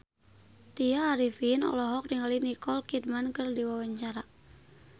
Tya Arifin olohok ningali Nicole Kidman keur diwawancara